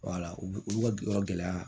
u olu ka yɔrɔ gɛlɛya